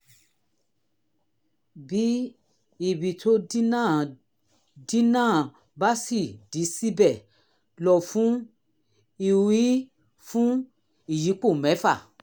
bí ibi tó dí náà dí náà bá ṣì dí síbẹ̀ lọ fún iui fún ìyípo mẹ́fà